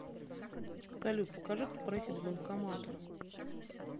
салют покажи как проехать к банкомату